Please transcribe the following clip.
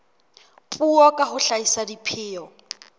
puo ka ho hlahisa dipheo